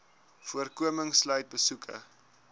voorkoming sluit besoeke